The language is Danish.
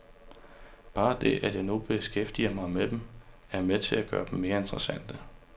Bare det, at jeg nu beskæftiger mig med dem, er med til at gøre dem mere interessante.